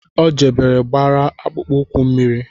O jebere gbara akpụụkwụ mmiri